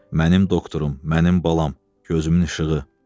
"Mənim doktorum, mənim balam, gözümün işığı."